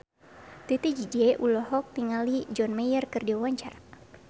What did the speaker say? Titi DJ olohok ningali John Mayer keur diwawancara